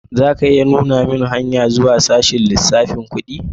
Za ka iya nuna mun hanya zuwa sashen lissafin kudi?